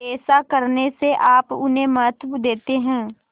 ऐसा करने से आप उन्हें महत्व देते हैं